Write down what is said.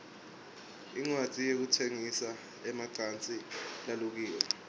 indzawo yekutsengisa emacansi lalukiwe